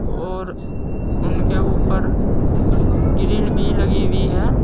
और उनके ऊपर ग्रीन बी लगी हुई है।